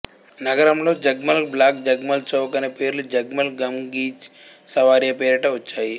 నగరంలో జగ్మల్ బ్లాక్ జగ్మల్ చౌక్ అనే పేర్లు జగ్మల్ గంగ్జీ సవారియా పేరిట వచ్చాయి